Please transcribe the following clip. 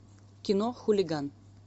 кино хулиган